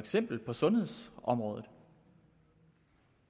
eksempel sundhedsområdet